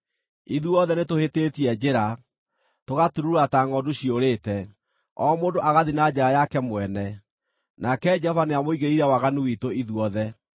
Ithuothe, nĩtũhĩtĩtie njĩra, tũgaturuura ta ngʼondu ciũrĩte, o mũndũ agathiĩ na njĩra yake mwene; nake Jehova nĩamũigĩrĩire waganu witũ ithuothe.